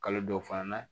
Kalo dɔw fana na